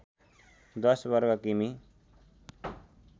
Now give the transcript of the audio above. १० वर्ग किमी